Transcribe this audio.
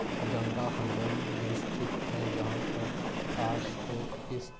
गंगा हुडोई मे स्तिथ है जहा पर कार को किस्त --